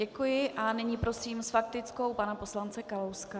Děkuji a nyní prosím s faktickou pana poslance Kalouska.